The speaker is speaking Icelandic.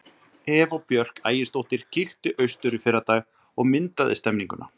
Eva Björk Ægisdóttir kíkti austur í fyrradag og myndaði stemmninguna.